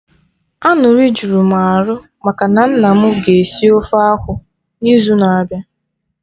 Aṅụrị jụrụ m arụ maka na nna mụ ga esi ofe akwụ n'izu na-abịa